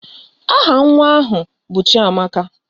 Aha nwa ahụ abụ Chiamaka?